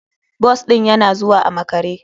Bus ɗin yana zuwa a makare.